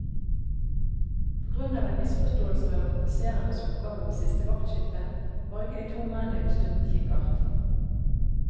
På grunn av en misforståelse mellom offiserenes oppgaver ved siste vaktskifte, var ikke de to mennene utstyrt med kikkert.